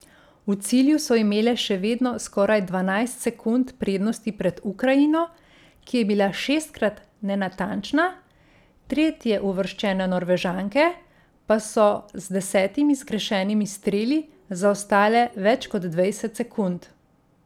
V cilju so imele še vedno skoraj dvanajst sekund prednosti pred Ukrajino, ki je bila šestkrat nenatančna, tretjeuvrščene Norvežanke pa so z desetimi zgrešenimi streli zaostale več kot dvajset sekund.